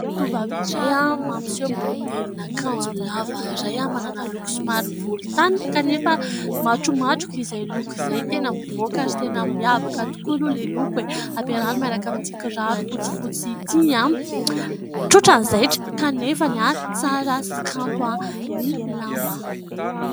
Tovovavy iray mampiseho modelin'akanjo lava iray manana loko somary volontany kanefa matromatroka izay loko izay. Tena mivoaka ary tena miavaka tokoa aloha ilay loko e ! Ampiarahany miaraka amin'ity kiraro fotsifotsy ity. Tsotra ny zaitra, kanefa tsara sy kanto ny lamba.